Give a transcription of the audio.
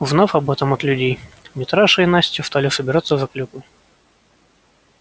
узнав об этом от людей митраша и настя стали собираться за клюквой